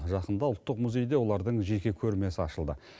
жақында ұлттық музейде олардың жеке көрмесі ашылды